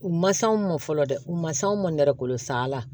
U ma s'anw ma fɔlɔ dɛ u man s'anw ma nɛgɛ kolo sa ala